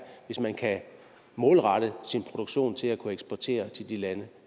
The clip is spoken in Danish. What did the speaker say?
hvis man kan målrette sin produktion til at kunne eksportere til de lande